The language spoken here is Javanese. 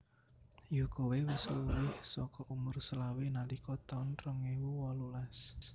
Yo koe wis luwih soko umur selawe nalika taun rong ewu wolulas